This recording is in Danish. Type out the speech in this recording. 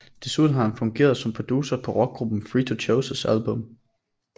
Desuden har han fungeret som producer på rockgruppen Free To Chooses album